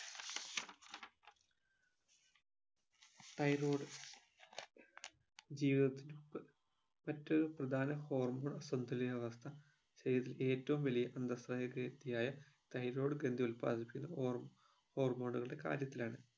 thyroid ജീവിതത്തിന്റൊപ്പ് മറ്റൊരു പ്രധാനപ്പെട്ട hormone സന്തുലിതാവസ്ഥ ശരീരത്തിൽ ഏറ്റവു വലിയ അന്തസ്രാനിക്ക് ഇടയായ thyroid ഗ്രന്ഥി ഉല്പാദിപ്പിക്കുന്ന ഹോർമ് hormone ഉകളുടെ കാര്യത്തിലാണ്